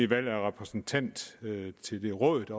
valg af repræsentant til det råd